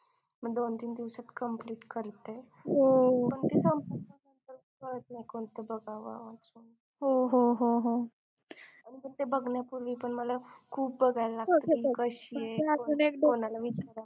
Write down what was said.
दोन-तीन दिवसात complete करते ते बघण्यापूर्वी पण मला खूप बघायला लागतं कशी आहे कोणाला विचारा